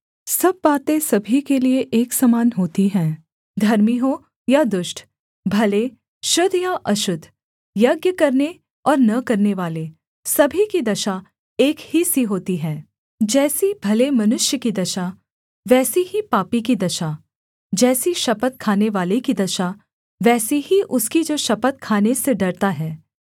सब बातें सभी के लिए एक समान होती हैं धर्मी हो या दुष्ट भले शुद्ध या अशुद्ध यज्ञ करने और न करनेवाले सभी की दशा एक ही सी होती है जैसी भले मनुष्य की दशा वैसी ही पापी की दशा जैसी शपथ खानेवाले की दशा वैसी ही उसकी जो शपथ खाने से डरता है